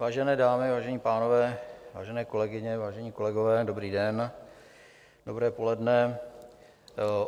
Vážené dámy, vážení pánové, vážené kolegyně, vážení kolegové, dobrý den, dobré poledne.